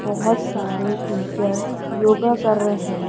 बहुत सारे टीचर्स योगा कर रहे हैं।